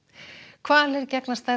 hvalir gegna stærra